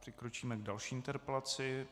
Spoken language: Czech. Přikročíme k další interpelaci.